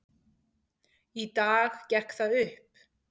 Í dag gekk það upp.